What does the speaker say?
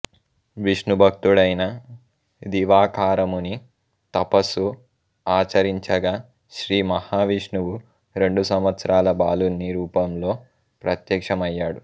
విష్ణుభక్తుడైన దివాకరముని తపస్సు ఆచరించగా శ్రీ మహావిష్ణువు రెండు సంవత్సరాల బాలుని రూపంలో ప్రత్యక్ష్మమయ్యాడు